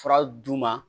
Fura d'u ma